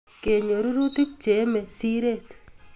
Kenyor rurutik Che emei siret